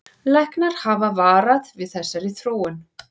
Læknar hafa varað við þessari þróun